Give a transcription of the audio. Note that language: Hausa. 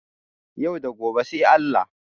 Yau da gobe sai Allah